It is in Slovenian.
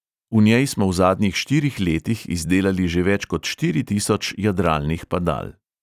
V njej smo v zadnjih štirih letih izdelali že več kot štiri tisoč jadralnih padal.